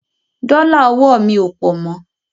Dọ́là ọwọ́ mi ò pọ̀ mo.